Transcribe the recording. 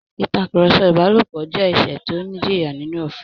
Ìtakùrọ̀sọ ìbálòpọ̀ jẹ́ ẹ̀ṣẹ̀ tó ní ìjìyà nínú òfin